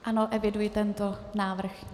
Ano, eviduji tento návrh.